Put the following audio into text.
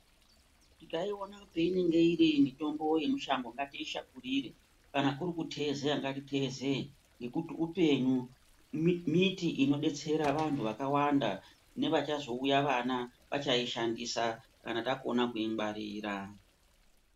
Tikaiona painenge iri mitombo yemushango ngatiishakurire, kana kuri kutezeya ngatiitezeye ngekuti upenyu. Miti inodetsera vantu vakawanda nevachazouya vana vachishandisa kana takona kungwarira.